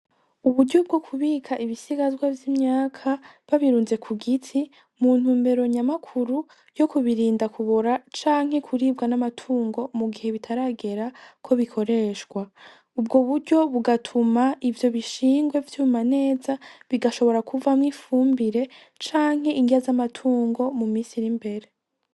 Uburyo bwo kubika ibisigazwa vy'imyaka babirunze ku giti muntu mbero nyamakuru yo kubirinda kubora canke kuribwa n'amatungo mu gihe bitaragera ko bikoreshwa, ubwo buryo bugatuma ivyo bishingwe vyuma neza bigashobora kuvamwo ifumbire canke ingiya zawa batungo mu misiri mbere.